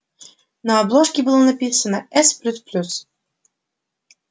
на обложке было написано с плюс плюс